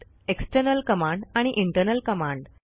external command आणि internal command